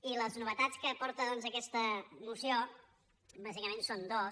i les novetats que aporta doncs aquesta moció bàsicament són dues